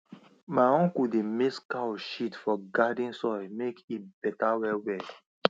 my uncle dey mix cow shit for garden soil make e better wellwell